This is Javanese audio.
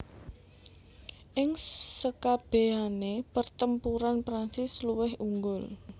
Ing sekabèhané pertempuran Prancis luwih unggul